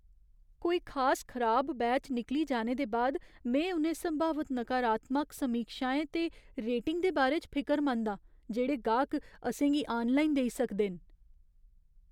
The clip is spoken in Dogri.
कोई खास खराब बैच निकली जाने दे बाद में उ'नें संभावत नकारात्मक समीक्षाएं ते रेटिंग दे बारे च फिकरमंद आं, जेह्ड़े गाह्क असें गी आनलाइन देई सकदे न।